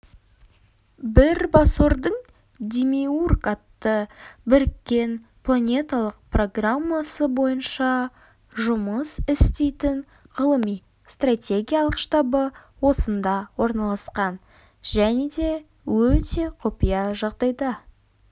бірбасордың демиург атты біріккен планеталық программасы бойынша жұмыс істейтін ғылыми-стратегиялық штабы осында орналасқан және де өте құпия жағдайда